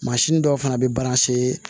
dɔw fana bɛ